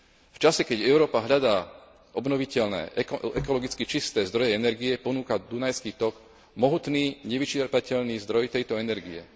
V čase, keď Európa hľadá obnoviteľné, ekologicky čisté zdroje energie, ponúka dunajský tok mohutný, nevyčerpateľný zdroj tejto energie.